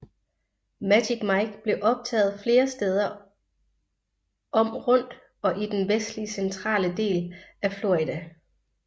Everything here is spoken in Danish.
Magic Mike blev optaget flere steder om rundt og i den vestlig centrale del af Florida